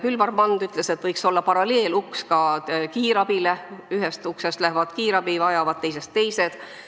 Külvar Mand on öelnud, et paralleeluks võiks olla ka kiirabis: ühest uksest lähevad sisse kiirabi vajavad, teisest teised inimesed.